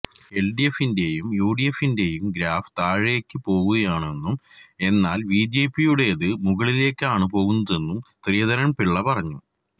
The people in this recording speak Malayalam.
എല്ഡിഎഫിന്റെയും യുഡിഎഫിന്റെയും ഗ്രാഫ് താഴേക്ക് പോവുകയാണെന്നും എന്നാല് ബിജെപിയുടേത് മുകളിലേക്കാണ് പോകുന്നതെന്നും ശ്രീധരന് പിള്ള പറഞ്ഞു